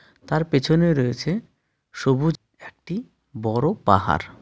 তার পেছনে রয়েছে সবুজ একটি বড়ো পাহাড়.